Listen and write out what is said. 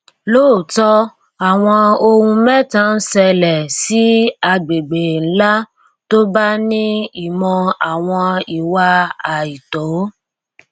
lóòótọ awọn ohun mẹta ń ṣẹlẹ sí agbègbè ńlá tó bá ní ìmò àwọn ìwà àìtó